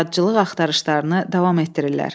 yaradıcılıq axtarışlarını davam etdirirlər.